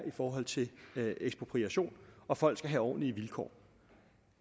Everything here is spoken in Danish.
i forhold til ekspropriation og folk skal have ordentlige vilkår